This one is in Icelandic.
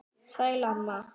Sæl, amma.